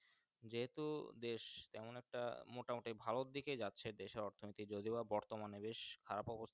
যে হেতু দেশ তেমন একটা মোটা মুক্তি ভালোর দিকে যাচ্ছে দেশের অর্থনীতি যদিবা বর্তমানে বেশ খারাপ অবস্থা।